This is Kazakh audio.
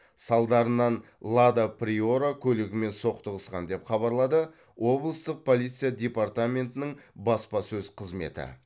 салдарынан лада приора көлігімен соқтығысқан деп хабарлады облыстық полиция департаментінің баспасөз қызметі